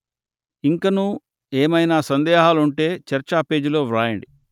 ఇంకనూ ఏమైనా సందేహాలుంటే చర్చా పేజీలో వ్రాయండి